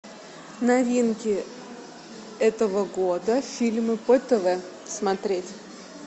новинки этого года фильмы по тв смотреть